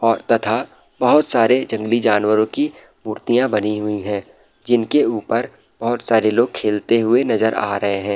और तथा बहोत सारे जंगली जानवरों की मूर्तियां बनी हुई है जिनके ऊपर बहुत सारे लोग खेलते हुए नजर आ रहे हैं।